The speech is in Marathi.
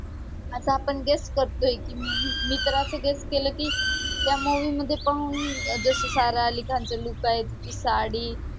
आता आपण guess करतोय की मी, मी तर असं guess केलं की त्या movie मध्ये जसं सारा अली खानचं look आहे, तिची साडी